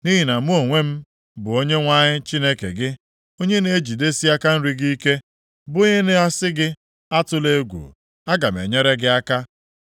Nʼihi na mụ onwe m, bụ Onyenwe anyị Chineke gị, onye na-ejidesi aka nri gị ike bụ onye na-asị gị, ‘Atụla egwu; aga m enyere gị aka.’